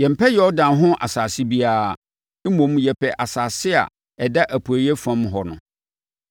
Yɛmpɛ Yordan ho asase biara. Mmom, yɛpɛ asase a ɛda apueeɛ fam hɔ no.”